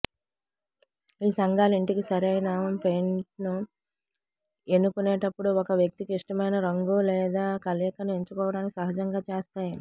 ఈ సంఘాలు ఇంటికి సరైన పెయింట్ను ఎన్నుకునేటప్పుడు ఒక వ్యక్తికి ఇష్టమైన రంగు లేదా కలయికను ఎంచుకోవటానికి సహజంగా చేస్తాయి